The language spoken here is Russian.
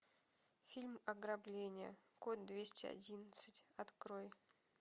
фильм ограбление код двести одиннадцать открой